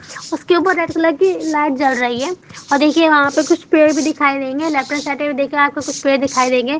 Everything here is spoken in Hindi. उसके ऊपर रेड कलर की लाइट ज्वल रही है और देखिए ओहा पे कुछ पैड़ भी दिखाइ देंगे लेफ्ट हैंड साइड में देखिये आपको कुछ पैड़ दिखाई देंगे।